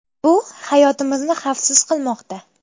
Bu hayotimizni xavfsiz qilmoqda.